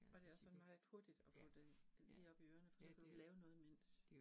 Og det også sådan meget hurtigt at få det lige op i ørerne, for så kan du lave noget imens